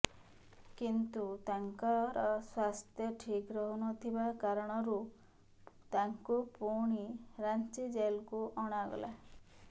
କିନ୍ତୁ ତାଙ୍କର ସ୍ୱାସ୍ଥ୍ୟ ଠିକ୍ ରହୁ ନ ଥିବା କାରଣରୁ ତାଙ୍କୁ ପୁଣି ରାଞ୍ଚି ଜେଲ୍କୁ ଅଣାଗଲା